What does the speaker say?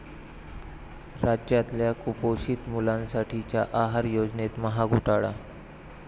राज्यातल्या कुपोषित मुलांसाठीच्या आहार योजनेत महाघोटाळा!